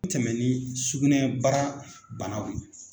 Tɛmɛ ni sugunɛbara banaw ye